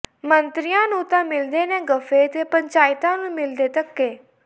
ਮੰਤਰੀਆਂ ਨੂੰ ਤਾਂ ਮਿਲਦੇ ਨੇ ਗੱਫੇ ਤੇ ਪੰਚਾਇਤਾਂ ਨੂੰ ਮਿਲਦੇ ਧੱਕੇ